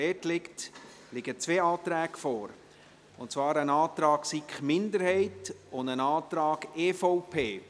Dort liegen zwei Anträge vor, und zwar ein Antrag der SiK-Minderheit und ein Antrag der EVP.